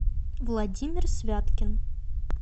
владимир святкин